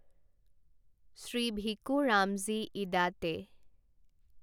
Shri Bhiku Ramji Idate